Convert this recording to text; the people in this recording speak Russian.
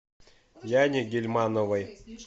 яне гильмановой